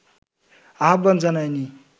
আহ্বান জানায়নি